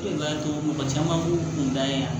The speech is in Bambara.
E de b'a to mɔgɔ caman b'u kun da yan